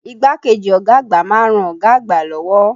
Igbákejì ọ̀gá àgbà ma ń ran ọ̀gá àgbà lọ́wọ́.